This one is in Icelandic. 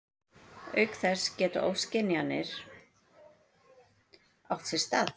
Auk þess geta ofskynjanir átt sér stað.